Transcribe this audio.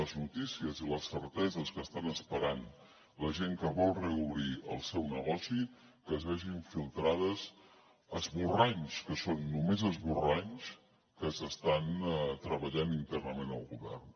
les notícies i les certeses que estan esperant la gent que vol reobrir el seu negoci que es vegin filtrats esborranys que són només esborranys en què s’està treballant internament al govern